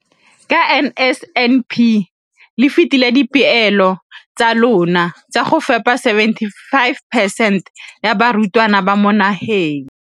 Ka NSNP le fetile dipeelo tsa lona tsa go fepa masome a supa le botlhano a diperesente ya barutwana ba mo nageng.